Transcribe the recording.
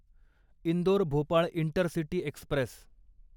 Indore Bhopal intercity Express